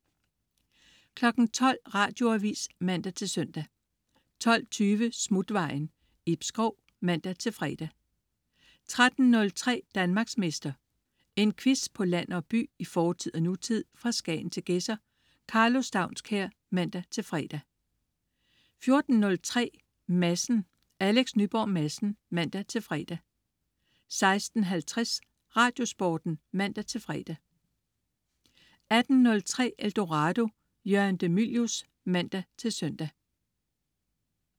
12.00 Radioavis (man-søn) 12.20 Smutvejen. Ib Schou (man-fre) 13.03 Danmarksmester. En quiz på land og by, i fortid og nutid, fra Skagen til Gedser. Karlo Staunskær (man-fre) 14.03 Madsen. Alex Nyborg Madsen (man-fre) 16.50 Radiosporten (man-fre) 18.03 Eldorado. Jørgen de Mylius (man-søn)